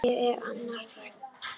Ég er Anna Frank.